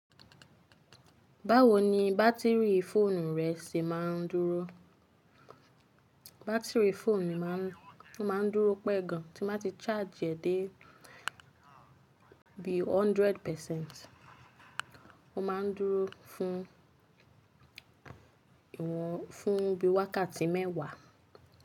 Báwo ni bátìrì fóònù rẹ ṣe máa ń dúró? Bátìrì fóònù mi máa ń dúró pẹ́ gan tí mo bá ti charge è dé bí i hundred percent, ó máa ń dúró fún ìwọ̀n, fún bí i wákàtí mẹ́wàá.